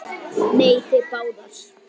Nei, þið báðar.